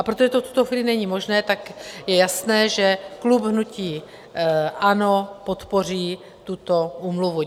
A protože to v tuto chvíli není možné, tak je jasné, že klub hnutí ANO podpoří tuto úmluvu.